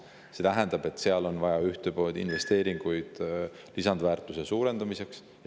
See tähendab, et on vaja investeeringuid lisandväärtuse suurendamiseks.